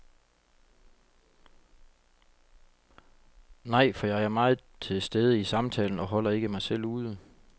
Nej, for jeg er meget til stede i samtalen og holder ikke mig selv ude.